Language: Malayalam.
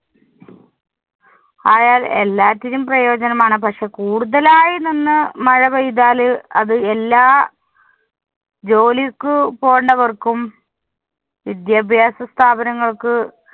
ആയാല്‍ എല്ലാറ്റിനും പ്രയോജനമാണ്. പക്ഷേ, കൂടുതലായി നിന്ന് മഴ പെയ്താല് അത് എല്ലാ ജോലിക്ക് പോണവര്‍ക്കും, വിദ്യാഭ്യാസസ്ഥാപനങ്ങള്‍ക്ക്